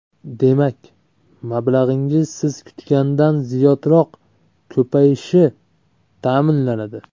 Demak, mablag‘ingiz siz kutgandan ziyodroq ko‘payishi ta’minlanadi.